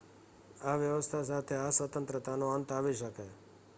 આ વ્યવસ્થા સાથે આ સ્વતંત્રતાનો અંત આવી શકે